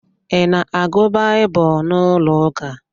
I na-agụ Baịbụl n'ụlọ ụka?